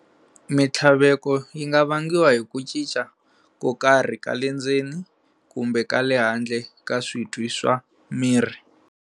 Minhtlaveko yi vangiwa hi ku cinca ko karhi kalendzeni kumbe kale handle ka switwi swa miri.